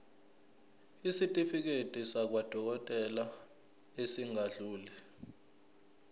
isitifiketi sakwadokodela esingadluli